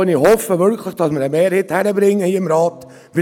Ich hoffe wirklich, dass wir hier im Rat eine Mehrheit hinkriegen.